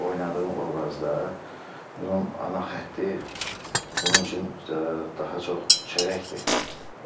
Oynadığım obrazda bunun ana xətti bunun üçün daha çox çörəkdir,